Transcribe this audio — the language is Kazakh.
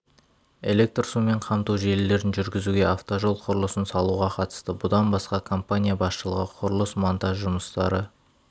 электр сумен қамту желілерін жүргізуге автожол құрылысын салуға қатысты бұдан басқа компания басшылығы құрылыс-монтаж жұмыстары